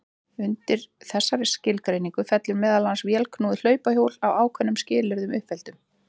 Undir þessa skilgreiningu fellur meðal annars vélknúið hlaupahjól að ákveðnum skilyrðum uppfylltum.